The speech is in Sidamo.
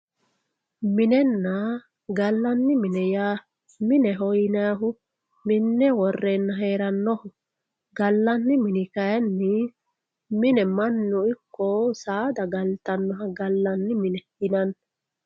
Minena galani mine mineho yaa minne worena heranoho galani mini kayini mine manu iko sadaa galtanoha galani mine yinani.